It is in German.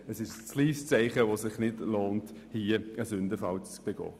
Es ist ein zu kleines Zeichen, bei dem es sich nicht lohnt, einen Sündenfall zu begehen.